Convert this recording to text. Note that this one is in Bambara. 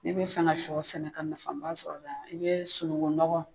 N'i bɛ fɛ ka sɔ sɛnɛ ka nafa ba sɔrɔ a la , i bɛ sunugun nɔgɔ